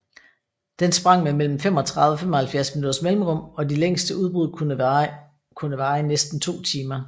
Den sprang med mellem 35 og 75 minutters mellemrum og de længste udbrud kunne var i næsten to timer